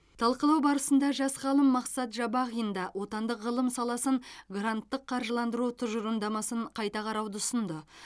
талқылау барысында жас ғалым мақсат жабағин да отандық ғылым саласын гранттық қаржыландыру тұжырымдамасын қайта қарауды ұсынды